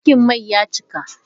Tankin mai ya cika.